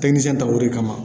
Tɛkinisɛn ta o de kama